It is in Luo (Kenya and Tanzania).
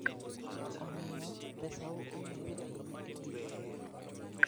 Omiyo, pesau ong'ere ahinya e piny Amerka.